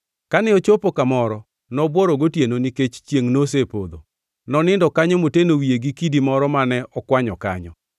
Kane ochopo kamoro, nobworo gotieno nikech chiengʼ nosepodho. Nonindo kanyo moteno wiye gi kidi moro mane okwanyo kanyo.